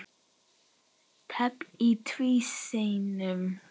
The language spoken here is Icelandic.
Teflt í tvísýnu